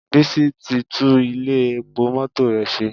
Bísí ti tú Ilé epo mọ́tò rẹ̀ ṣe